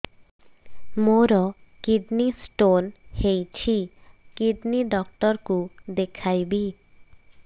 ମୋର kidney stone ହେଇଛି kidney doctor କୁ ଦେଖାଇବି